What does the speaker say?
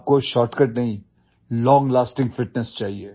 आपको शॉर्टकट नहीं long lasting fitness चाहिए